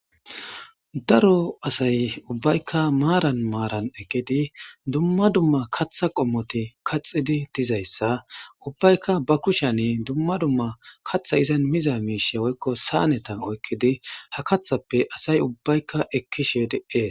Daro asy ubbaykka marn maran eqidi dumma dumma katha qommoti kaxidi dizaysa ubaykka ba kushan dumma dumma katha izan miza mishe woyko saneta okidi ha kathape ubaykka ekishe des